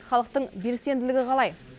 халықтың белсенділігі қалай